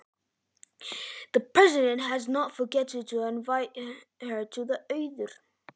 Ekki hefur forsetinn gleymt að bjóða henni Auði úr